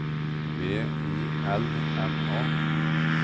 V I L M A